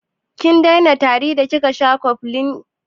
Kin daina tari da kika sha cofflin?